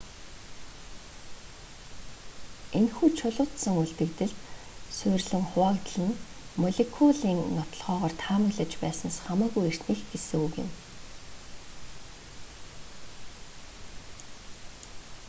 энэхүү чулуужсан үлдэгдэлд суурилан хуваагдал нь молекулын нотолгоогоор таамаглаж байснаас хамаагүй эртнийх гэсэг үг юм